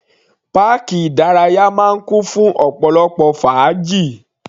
Páàkì ìdárayá máa ń kún fún ọ̀pọ̀lọpọ̀ fàájì.